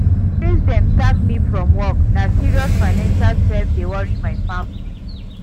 Since dem sack me from work, na serious financial strain dey worry my family.